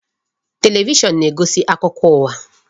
Television na-egosi akụkọ ụwa.